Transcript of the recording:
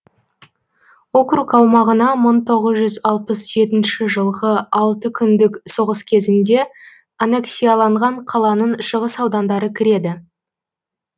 округ аумағына мың тоғыз жүз алпыс жетінші жылғы алты күндік соғыс кезінде аннексияланған қаланың шығыс аудандары кіреді